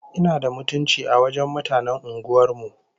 Ina da mutunci a wajen mutanen unguwar mu!